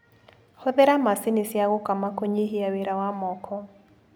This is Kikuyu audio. Hũthĩra macini cia gũkama kũnyihia wĩra wa moko.